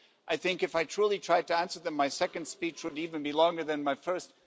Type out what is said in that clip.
I think if I truly tried to answer them my second speech would even be longer than my first.